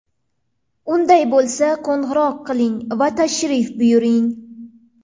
Unday bo‘lsa, qo‘ng‘iroq qiling va tashrif buyuring!